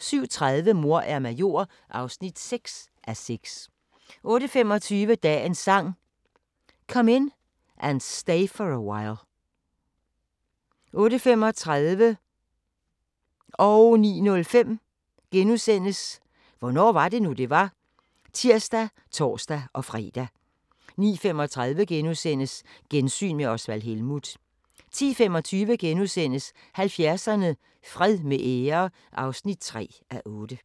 07:30: Mor er major (6:6) 08:25: Dagens Sang: Come In And Stay For A While 08:35: Hvornår var det nu, det var? *(tir og tor-fre) 09:05: Hvornår var det nu, det var? *(tir og tor-fre) 09:35: Gensyn med Osvald Helmuth * 10:25: 70'erne: Fred med ære (3:8)*